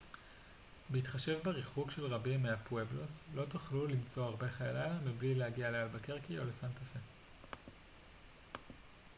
בהתחשב בריחוק של רבים מהפואבלוס לא תוכלו למצוא הרבה חיי לילה בלי להגיע לאלבקרקי או לסנטה-פה